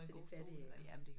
Til de fattige eller